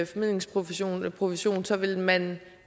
formidlingsprovision eller provision så vil man